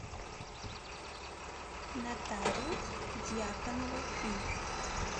нотариус дьяконова фи